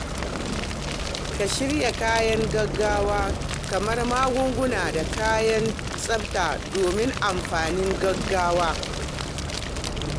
Ka shirya kayan gaugawa kamar magunguna da kayan tsafta domin amfanin gaugawa.